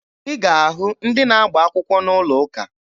Ị ga-ahụ ndị na-agba akwụkwọ n'ụlọ ụka.